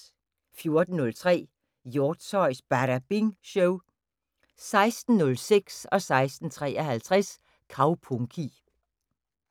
14:03: Hjortshøjs Badabing Show 16:06: Kaupunki 16:53: Kaupunki